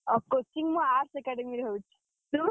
ଅ coaching ମୁଁ Arts academy ରେ ହଉଚି। ତୁ?